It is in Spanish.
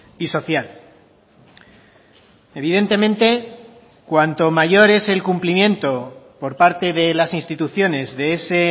y social evidentemente cuanto mayor es el cumplimiento por parte de las instituciones de ese